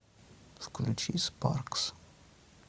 включи спаркс